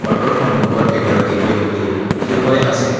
অটোৰ সন্মুখত এগৰাকী ব্যক্তি থিয় হৈ আছে।